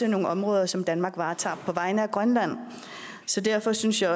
nogle områder som danmark varetager på vegne af grønland så derfor synes jeg